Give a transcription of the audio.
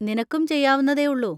നിനക്കും ചെയ്യാവുന്നതേയുള്ളൂ.